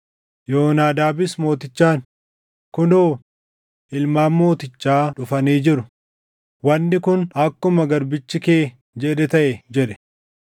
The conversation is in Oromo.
Yoonaadaabis mootichaan, “Kunoo, ilmaan mootichaa dhufanii jiru; wanni kun akkuma garbichi kee jedhe taʼe” jedhe.